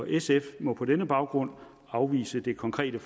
sf må på denne baggrund afvise det konkrete